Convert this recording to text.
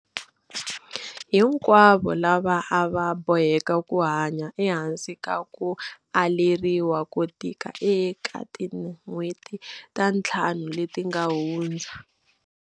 Hinkwavo lava a va boheka ku hanya ehansi ka ku aleriwa ko tika eka tin'hweti ta ntlhanu leti nga hundza.